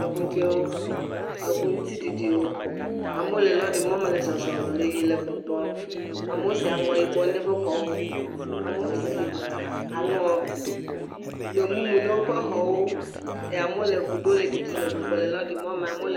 Eŋu dzɛ̃wo, eŋu ŋutiɖiɖiwo, amewo le lɔrimɔme le zɔzɔm le yiyim le gbɔgbɔm, amewo si aŋɔ yibɔ na woƒe xɔwo, amewo si aŋɔ gbemumu na woƒe xɔwo eye amewo le ŋu ɖom le ɖiɖim le lɔrimɔme amewo.